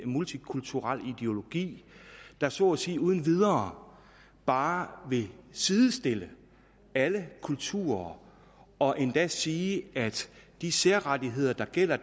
multikulturel ideologi der så at sige uden videre bare vil sidestille alle kulturer og endda sige at de særrettigheder der gælder